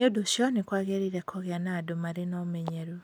Nĩ ũndũ ũcio, nĩ kwagĩrĩire kũgĩa na andũ marĩ na ũmenyeru.